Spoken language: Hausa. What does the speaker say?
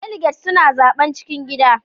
Daliget suna zaɓen cikin gida.